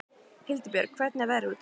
Hildibjörg, hvernig er veðrið úti?